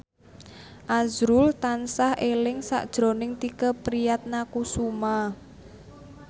azrul tansah eling sakjroning Tike Priatnakusuma